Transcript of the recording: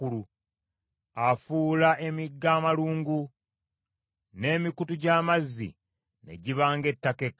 Afuula emigga amalungu, n’emikutu gy’amazzi ne giba ng’ettaka ekkalu,